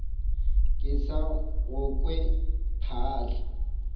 ke sa go kwe phaahla